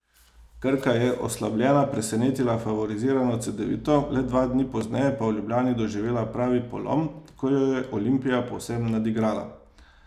Krka je oslabljena presenetila favorizirano Cedevito, le dva dni pozneje pa v Ljubljani doživela pravi polom, ko jo je Olimpija povsem nadigrala.